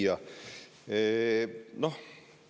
Hea küsija!